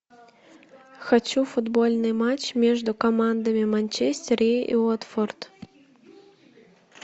хочу футбольный матч между командами манчестер и уотфорд